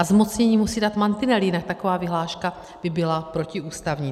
A zmocnění musí dát mantinely, jinak taková vyhláška by byla protiústavní.